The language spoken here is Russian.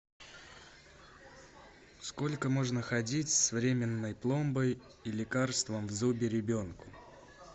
сколько можно ходить с временной пломбой и лекарством в зубе ребенку